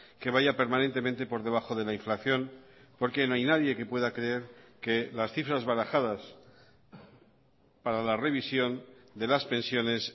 que vaya permanentemente por debajo de la inflación porque no hay nadie que pueda creer que las cifras barajadas para la revisión de las pensiones